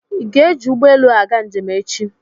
Ị ga-eji ụgbọelu aga njem echi?